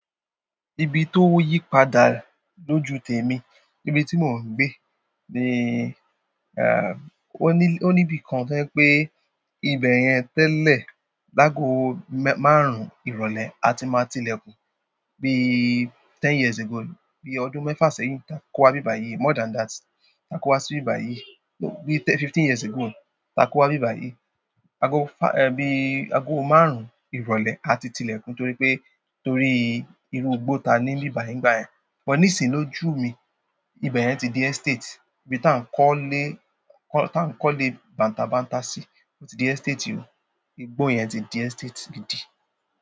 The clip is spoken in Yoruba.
Ibi tó yí padà lójú tèmi, níbi tí mò ń gbé ni, eh, ó ní, ó ní ibi kan to jẹ wipé ibẹ̀ yẹn tẹ́lẹ̀, lágo márùn-ún ìrọ̀lẹ́ a ti máa tilẹ̀kùn. Bí ten years ago, bí ọdún mẹ́fà sẹ́yìn, takọ wá bíbàyí more than that, takọ wá sí ibibà yìí. Bí fifteen years ago takọ wá bíbàyí. Ago fá-- e bí ago márùn-ún ìrọ̀lẹ́ a ti tilẹ̀kùn torí pé, torí irú igbó ta ní nbibayi nígbà yẹ́n. Gbọn ní ìsìn lójú mi, ibẹ̀ yẹn ti di estate. Ibi tá ń kọ́lẹ́, kọ́, tá ń kọ́lẹ́ bàǹtàbàǹtà sí, ó ti di estate o. Igbó yẹn ti di estate gidi.